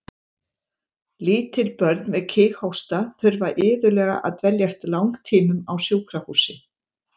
Lítil börn með kíghósta þurfa iðulega að dveljast langtímum á sjúkrahúsi.